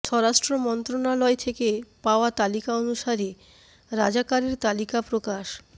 স্বরাষ্ট্র মন্ত্রণালয় থেকে পাওয়া তালিকা অনুসারে রাজাকারের তালিকা প্রকাশ